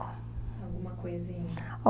Alguma coisinha?